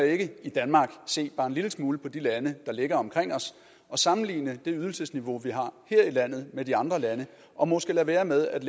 ikke i danmark se bare en lille smule på de lande der ligger omkring os og sammenligne det ydelsesniveau vi har her i landet med de andre landes og måske lade være med at